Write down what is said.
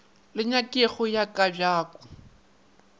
le nyakego ya ka bjako